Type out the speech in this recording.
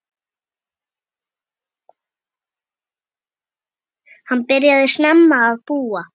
Hann byrjaði snemma að búa.